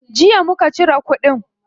Jiya muka cire kudin.